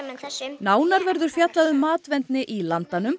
nánar verður fjallað um matvendni í Landanum